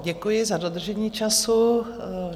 Děkuji za dodržení času.